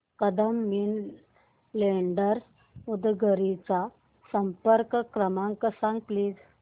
Kadam money lenders Udgir चा संपर्क क्रमांक सांग प्लीज